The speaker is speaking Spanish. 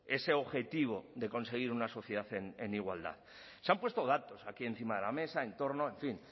ese objetivo de conseguir una sociedad en igualdad se han puesto datos aquí encima de la mesa en torno en fin